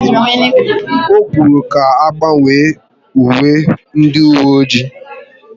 Ọ kwuru ka agbanwe uwe ndị uwe ọjị